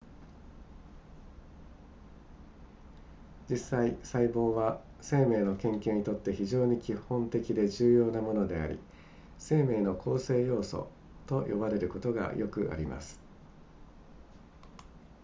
実際細胞は生命の研究にとって非常に基本的で重要なものであり生命の構成要素と呼ばれることがよくあります